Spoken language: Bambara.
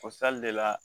O le la